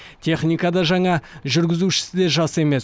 техника да жаңа жүргізушісі де жас емес